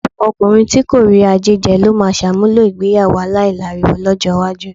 Ọ̀pọ̀ ọkùnrin tí kò rí jájẹ ló máa ṣàmúlò ìgbéyàwó aláìláriwo lọ́jọ́ iwájú.